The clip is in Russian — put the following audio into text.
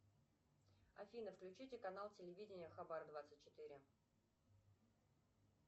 афина включите канал телевидения хабар двадцать четыре